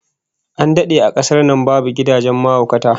An dade a kasar nan babu gidajen mahaukata